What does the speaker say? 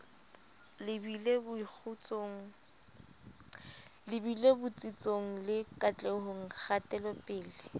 lebile botsitsong le katlehong kgatelopele